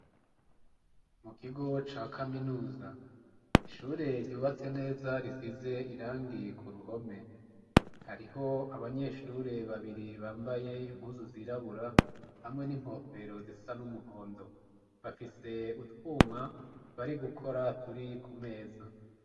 Mu kigo ca kaminuza ,ishure ryubatse neza risize irangi ku ruhome ,hariho abanyeshure babiri bambaye impuzu zirabura hamwe n'inkofero zisa n'umuhondo. Bafise utwuma bari gukora turi ku meza.